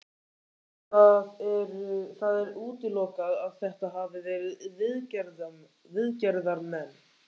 Það er útilokað að þetta hafi verið viðgerðarmenn.